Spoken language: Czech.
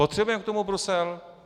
Potřebujeme k tomu Brusel?